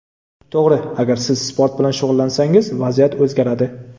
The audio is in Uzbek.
To‘g‘ri, agar siz sport bilan shug‘ullansangiz vaziyat o‘zgaradi.